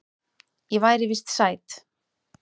Ég væri víst sæt.